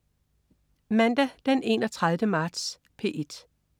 Mandag den 31. marts - P1: